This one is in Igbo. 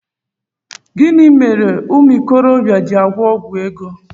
Gịnị mere umuokorobia ji agwọ ọgwụ ego?